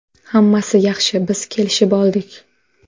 Hammasi yaxshi, biz kelishib oldik!